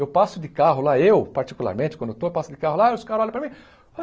Eu passo de carro lá, eu particularmente, quando eu estou, eu passo de carro lá e os caras olham para mim.